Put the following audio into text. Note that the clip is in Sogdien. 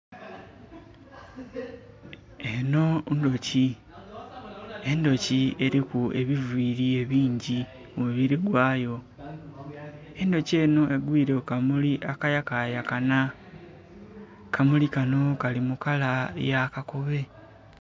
Enho ndhuki. Endhuki eliku ebiviili ebingi ku mubili gwayo. Endhuki enho egwile ku kamuli akayakayakana. Kamuli kano kali mu kala ya kakobe.